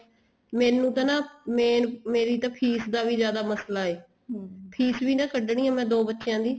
ਮੈਨੂੰ ਤਾਂ ਨਾ main ਮੇਰੀ ਤਾਂ ਫ਼ੀਸ ਦਾ ਵੀ ਜਿਆਦਾ ਮਸਲਾ ਏ ਫ਼ੀਸ ਵੀ ਤਾਂ ਕੱਢਣੀ ਹੈ ਦੋ ਬੱਚਿਆਂ ਦੀ